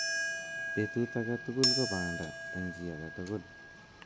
Betut agetugul ko banda eng chii tugul.